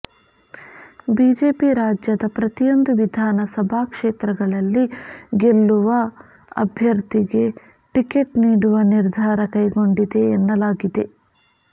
BJP ರಾಜ್ಯದ ಪ್ರತಿಯೊಂದು ವಿಧಾನ ಸಭಾ ಕ್ಷೇತ್ರಗಳಲ್ಲಿ ಗೆಲ್ಲುವ ಅಭ್ಯರ್ಥಿಗೆ ಟಿಕೆಟ್ ನೀಡುವ ನಿರ್ಧಾರ ಕೈಗೊಂಡಿದೆ ಎನ್ನಲಾಗಿದೆ